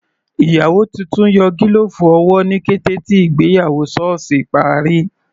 Ìyàwó titun yọ gílọ̀ọ̀fù owó ní kété tí ìgbéyàwó sọ́ọ̀sì parí.